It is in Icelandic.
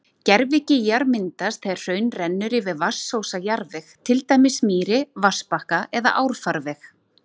Gervigígar myndast þegar hraun rennur yfir vatnsósa jarðveg, til dæmis mýri, vatnsbakka eða árfarveg.